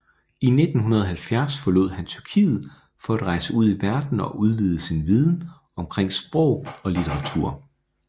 I 1970 forlod han Tyrkiet for at rejse ud i verden og udvide sin viden omkring sprog og litteratur